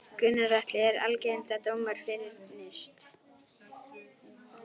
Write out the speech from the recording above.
Gunnar Atli: Er algengt að dómar fyrnist?